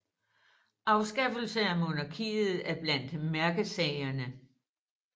Afskaffelse af monarkiet er blandt mærkesagerne